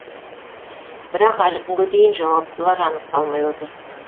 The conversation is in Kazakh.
бірақ әлі күнге дейін жауаптылар анықталмай отыр